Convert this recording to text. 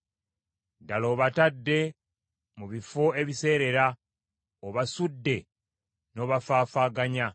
Ddala obatadde mu bifo ebiseerera; obasudde n’obafaafaaganya.